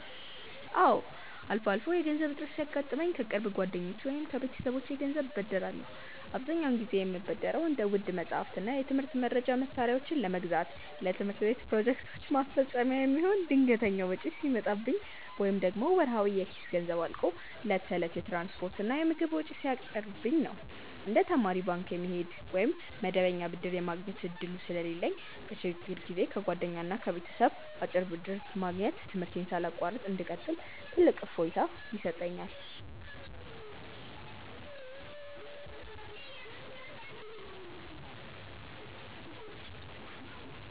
አዎ፣ አልፎ አልፎ የገንዘብ እጥረት ሲያጋጥመኝ ከቅርብ ጓደኞቼ ወይም ከቤተሰቦቼ ገንዘብ እበደራለሁ። አብዛኛውን ጊዜ የምበደረው እንደ ውድ መጻሕፍትና የትምህርት መርጃ መሣሪያዎችን ለመግዛት፣ ለትምህርት ቤት ፕሮጀክቶች ማስፈጸሚያ የሚሆን ድንገተኛ ወጪ ሲመጣብኝ፣ ወይም ደግሞ ወርሃዊ የኪስ ገንዘቤ አልቆ ለዕለት ተዕለት የትራንስፖርትና የምግብ ወጪ ሲያጥርብኝ ነው። እንደ ተማሪ ባንክ የመሄድ ወይም መደበኛ ብድር የማግኘት ዕድሉ ስለሌለኝ፣ በችግር ጊዜ ከጓደኛና ከቤተሰብ አጭር ብድር ማግኘት ትምህርቴን ሳላቋርጥ እንድቀጥል ትልቅ እፎይታ ይሰጠኛል።